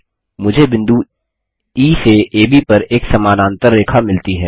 मुझे बिंदु ई से एबी पर एक समानांतर रेखा मिलती है